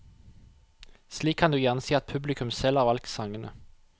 Slik kan du gjerne si at publikum selv har valgt sangene.